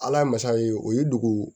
Ala ye masa ye o ye dugu